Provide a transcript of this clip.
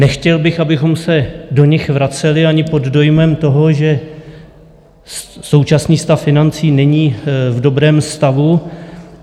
Nechtěl bych, abychom se do nich vraceli, ani pod dojmem toho, že současný stav financí není v dobrém stavu.